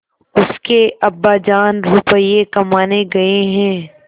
उसके अब्बाजान रुपये कमाने गए हैं